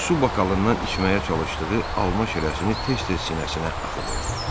Su bakalından içməyə çalışdığı alma şirəsini tez-tez sinəsinə axıdırdı.